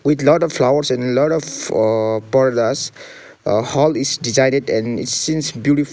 with lot of flowers and lot of aa pardas aa hall is designed and it seens beautiful --